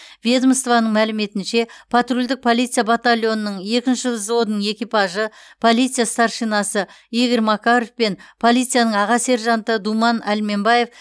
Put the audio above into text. ведомствоның мәліметінше патрульдік полиция батальонының екінші взводының экипажы полиция старшинасы игорь макаров пен полицияның аға сержанты думан әлменбаев